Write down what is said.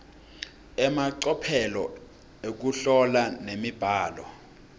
emacophelo ekuhlola nemibhalo